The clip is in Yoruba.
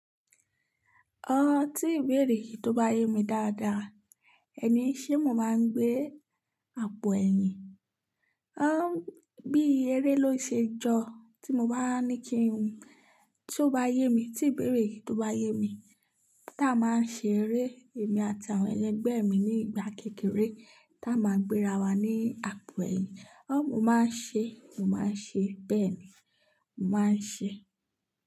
Ọ tí ìbéèrè yìí tó bá yé mi dáadáa, ẹni ṣé mo máa ń gbé àpò ẹ̀yìn? Há bí eré ló ṣe jọ tí mo bá ní kí n. Tí ó bá yé mi, tí ìbéèrè yìí tó bá yé mi, tá a máa ń ṣe eré èmi àti àwọn ẹlẹgbẹ́ mi ní ìgbà kékeré tá a máa ń gbéra wa ní àpò ẹ̀yìn. Ó mo máa ń ṣe, mo máa ń ṣe bẹ́ẹ̀ ni, mo máa ń ṣe.